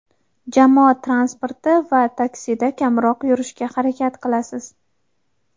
jamoat transporti va taksida kamroq yurishga harakat qilasiz.